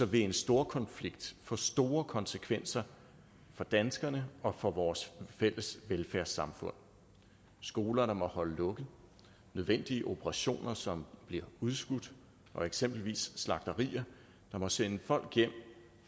vil en storkonflikt få store konsekvenser for danskerne og for vores fælles velfærdssamfund skoler der må holde lukket nødvendige operationer som bliver udskudt og eksempelvis slagterier der må sende folk hjem